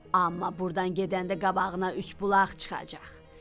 Amma burdan gedəndə qabağına üç bulaq çıxacaq.